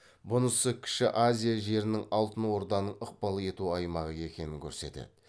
бұнысы кіші азия жерінің алтын орданың ықпал ету аймағы екенін көрсетеді